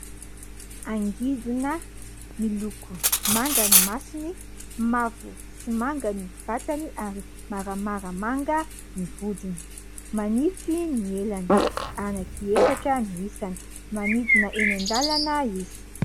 Angidina miloko manga ny masony, mavo sy manga ny vatany ary maramara manga ny vodiny. Manify ny elany, anankiefatra no isany. Manidina eny an-dalana izy.